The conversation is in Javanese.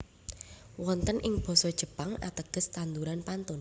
Wonten ing Basa Jepang ateges tanduran pantun